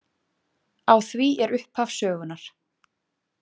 Á því er upphaf sögunnar.